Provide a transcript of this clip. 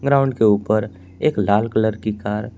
ground के ऊपर एक लाल कलर की कार--